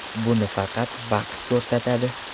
Buni faqat vaqt ko‘rsatadi.